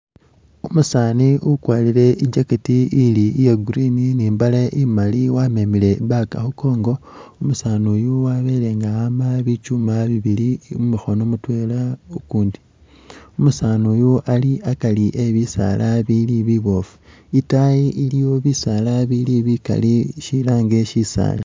Umusani ukwarile i'jackect ili iya' green ni'mbale imaali wamemile i'bag khunkongo umusani uyu wabele nga awamba bitsuma bibili mukhono mutwela, kukundi umusani uyu ali akari ebisaala bili bibofu itaayi iliyo bisaala bili bikaali shilange ori shisaali